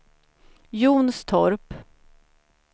Jonstorp